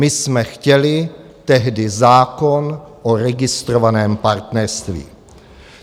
My jsme chtěli tehdy zákon o registrovaném partnerství.